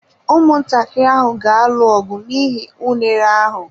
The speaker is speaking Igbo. Ụmụntakịrị ahụ ga-alụ ọgụ n'ihi unere ahụ.